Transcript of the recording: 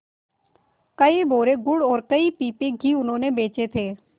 कई बोरे गुड़ और कई पीपे घी उन्होंने बेचे थे